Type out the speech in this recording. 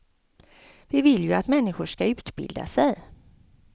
Vi vill ju att människor skall utbilda sig.